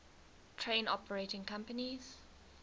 train operating companies